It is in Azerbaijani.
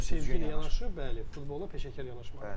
Və bu sevgi ilə yanaşı, bəli, futbola peşəkar yanaşmalıdır.